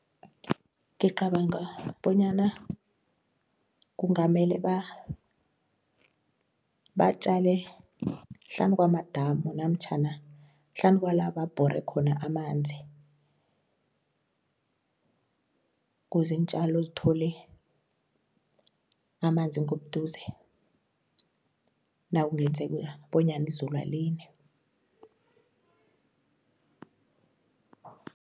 Ngicabanga bonyana kungamele batjale hlanu kwamadamu namtjhana hlanu kwala babhore khona amanzi kuze iintjalo zithole amanzi ngobuduze nakungenzeka bonyana izulu alini.